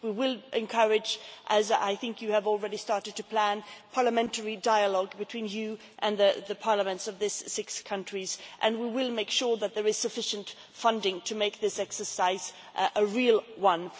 We will encourage as I think you have already started to plan parliamentary dialogue between you and the parliaments of these six countries, and we will make sure that there is sufficient funding to make this exercise a real one.